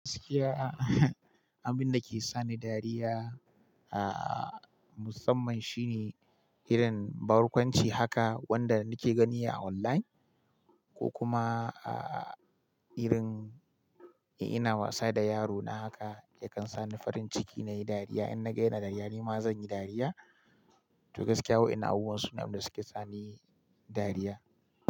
Abinda ke sani dariya musamman shine barkwanci wanda nake gani a online ko kuma irin eh ina wasa da yaro na haka ya kan sa ni farin ciki na yi dariya. Nima zanyi dariya to gaskiya wai ina a wurin su ne abin da suke tsami dariya.